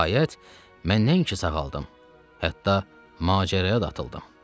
Nəhayət, mən nəinki sağaldım, hətta macəraya da atıldım.